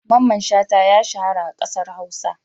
Mamman Shata ya shahara a ƙasar Hausa.